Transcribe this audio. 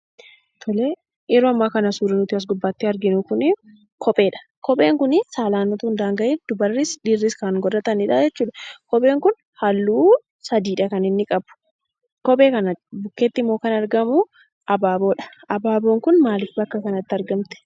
Tole, yeroo ammaa kana suurri nuti as gubbaatti arginu kunii kopheedha. Kopheen kunii saalaan utuun daanga'iin dubarris dhiirris kan godhatanidhaa jechuudha. Kopheen kun halluu sadiidha kan inni qabu. Kophee kana bukkeetti immoo kan argamuu abaaboodha. Abaaboon kun maalif bakka kanatti argamte?